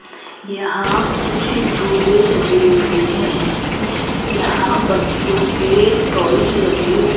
यहां कुछ झूले लगे हुए हैं यहां बच्चों के टॉयज लगे हु --